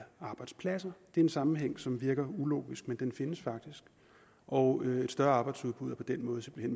arbejdspladser det en sammenhæng som virker ulogisk men den findes faktisk og et større arbejdsudbud er på den måde simpelt